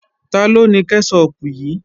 Taló ni kẹ́ṣọpù yìí?